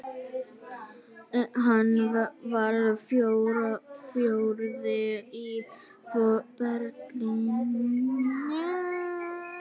Hann varð fjórði í Berlín.